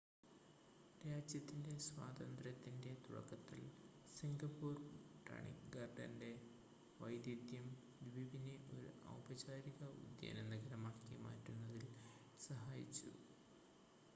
രാജ്യത്തിൻ്റെ സ്വാതന്ത്ര്യത്തിൻ്റെ തുടക്കത്തിൽ സിംഗപ്പൂർ ബൊട്ടാണിക്ക് ഗാർഡൻ്റെ വൈദഗ്‌ധ്യം ദ്വീപിനെ ഒരു ഔപചാരിക ഉദ്യാന നഗരമാക്കി മാറ്റുന്നതിൽ സഹായിച്ചു